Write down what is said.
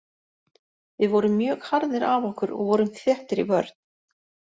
Við vorum mjög harðir af okkur og vorum þéttir í vörn.